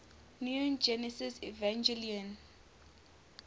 neon genesis evangelion